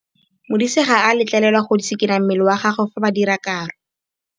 Modise ga a letlelelwa go tshikinya mmele wa gagwe fa ba dira karô.